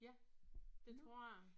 Ja det tror jeg